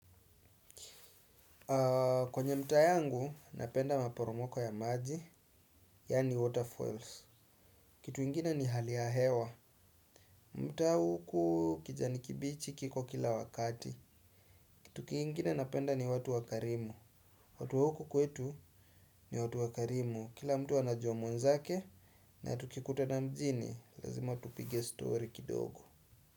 Kwenye mtaa yangu, napenda maporomoko ya maji, yaani waterfalls. Kitu ingine ni hali ya hewa. Mtaa huku kijani kibichi kiko kila wakati. Kitu kingine napenda ni watu wakarimu. Watu wa huku kwetu ni watu wakarimu. Kila mtu anajua mwenzake na tukikutana mjini lazima tupige story kidogo.